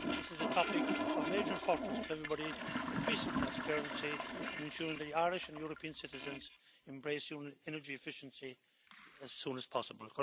This is a topic of major importance to everybody increasing transparency and ensuring that Irish and European citizens embrace energy efficiency as soon as possible.